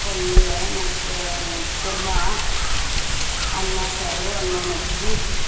ಪಲ್ಯಾ ಮತ್ತ kurma ಅನ್ನ, ಸಾರು, ಅನ್ನ, ಮಜ್ಗಿ.